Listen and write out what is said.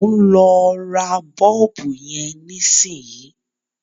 Mò ń lọ ra bọ́ọ̀bù yẹn nísìnyìí.